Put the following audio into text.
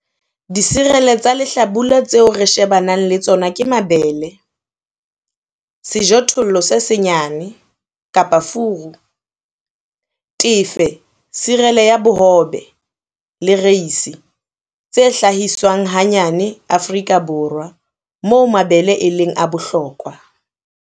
Diserele tsa lehlabula tseo re shebaneng le tsona ke mabele, sejothollo se senyane-furu, tefe, serele ya bohobe, le reisi, tse hlahiswang hanyane Afrika Borwa, moo mabele e leng a bohlokwa.